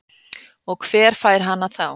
Og hver fær hana þá?